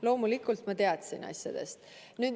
Loomulikult ma teadsin asjadest.